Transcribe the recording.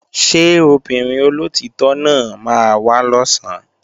Ṣé obìnrin olóòtítọ́ náà máa wá lọ̀sán?